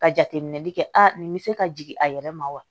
Ka jateminɛli kɛ a nin bɛ se ka jigin a yɛrɛ ma wa